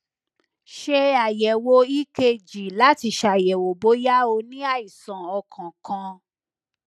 ṣe ayẹwo ekg lati ṣayẹwo boya o ni àìsàn ọkan kan